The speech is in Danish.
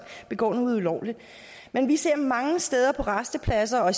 begår noget ulovligt men vi ser mange steder på rastepladser og